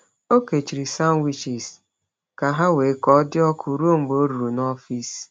Ọ kechiri sandwiches ka ha wee ka dị ọkụ ruo mgbe ọ ruru n’ọfịs.